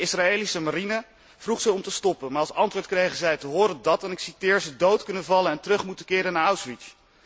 De Israëlische marine vroeg ze om te stoppen, maar als antwoord krijgen zij te horen dat, en ik citeer ze dood kunnen vallen en terug moeten keren naar Auschwitz.